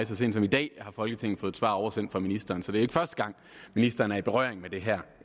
så sent som i dag har folketinget fået et svar oversendt fra ministeren så det er ikke førte gang ministeren er i berøring med det her